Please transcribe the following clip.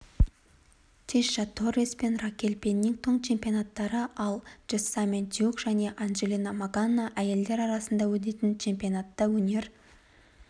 тиша торрес пен ракель пеннингтон чемпиондары алджессамин дьюк және анджела магана әйелдер арасында өтетін чемпионатта өнер